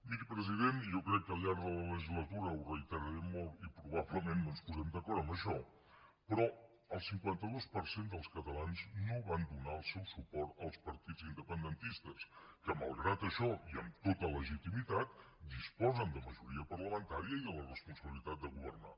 miri president i jo crec que al llarg de la legislatura ho reiteraré molt i probablement no ens posem d’acord en això el cinquanta dos per cent dels catalans no van donar el seu suport als partits independentistes que malgrat això i amb tota legitimitat disposen de majoria parlamentària i de la responsabilitat de governar